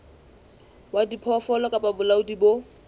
wa diphoofolo kapa bolaodi bo